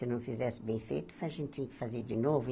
Se não fizesse bem feito, a gente tinha que fazer de novo.